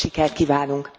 Sok sikert kívánunk!